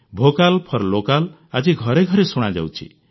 vocal for local ଆଜି ଘରେ ଘରେ ଶୁଣାଯାଉଛି